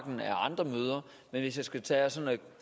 med andre møder men hvis jeg skal tage og